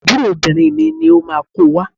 Àbúrò obìnrin mi ni ó máa ko wá.